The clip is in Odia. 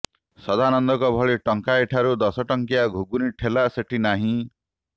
ସଦାନନାଙ୍କ ଭଳି ଟଙ୍କାଏ ଠାରୁ ଦଶଟଙ୍କିଆ ଘୁଗୁନି ଠୋଲା ସେଠି ନାହିଁ